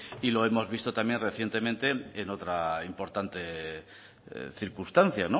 y lo hemos visto también recientemente en otra importante circunstancia